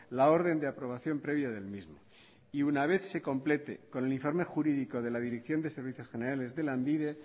la orden de aprobación previa del mismo y una vez se complete con el informe jurídico de la dirección de servicios generales de lanbide